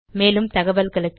மேலும் தகவல்களுக்கு